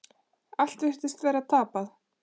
Allt virtist vera tapað.